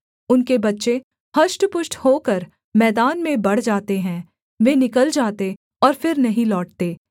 उनके बच्चे हष्टपुष्ट होकर मैदान में बढ़ जाते हैं वे निकल जाते और फिर नहीं लौटते